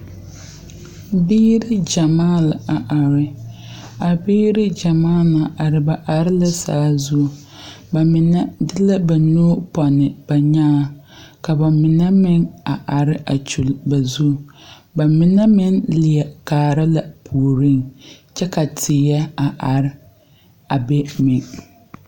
Biire gyamaa la a are a biire gyamaa na are ba are la saazu ba mine de la ba nu pɔnne ba nyaaŋ ka ba mine meŋ a are kyule ba zu ba mine meŋ leɛ kaara la a puoriŋ kyɛ ka teɛ a are a be meŋ.